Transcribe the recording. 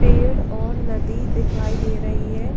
पेड़ और नदी दिखाई दे रही है।